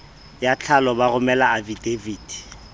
ya tlhalo ba romele afidaviti